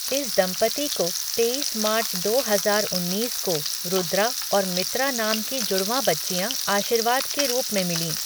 इस दंपति को तेईस मार्च दो हजार उन्नीस को रुद्रा और मित्रा नाम की जुड़वाँ बच्चियाँ आशीर्वाद के रूप में मिलीं।